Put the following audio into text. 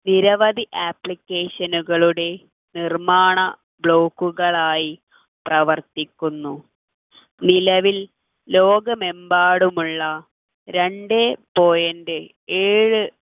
നിരവധി application കളുടെ നിർമ്മാണ blog കൾ ആയി പ്രവർത്തിക്കുന്നു നിലവിൽ ലോകമെമ്പാടുമുള്ള രണ്ട് point ഏഴ്